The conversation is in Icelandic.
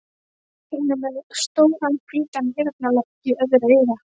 Hún er með stóran hvítan eyrnalokk í öðru eyra.